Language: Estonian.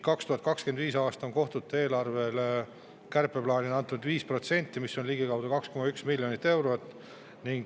2025. aastal on kohtute eelarve kärpeks 5%, mis on ligikaudu 2,1 miljonit eurot.